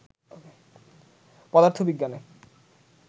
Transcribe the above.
পদার্থ বিজ্ঞানে